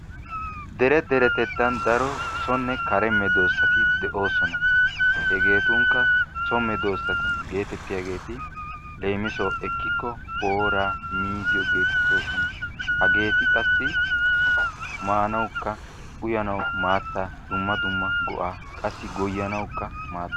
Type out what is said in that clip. dere deretettan daro sonne kare medoosati de'oosona. hegeetunkka daro so medoosati leemisuwaassi ekkikko booraa miizziyo geetettoosona. hageeti qassi maanaw. uyyanawu maattaa dumma dumma go'aa qassi goyyanawukka maadoosona.